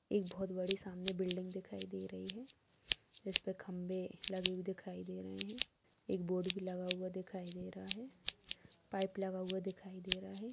एक बहोत बड़ी सामने बिल्डिंग दिखाई दे रही है जिस पर खंभे लगे हुए दिखाई दे रहे हैं एक बोर्ड भी लगा हुआ दिखाई दे रहा है पाइप लगा हुआ दिखाई दे रहा है।